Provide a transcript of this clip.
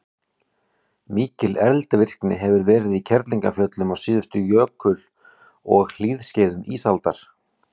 mikil eldvirkni hefur verið í kerlingarfjöllum á síðustu jökul og hlýskeiðum ísaldar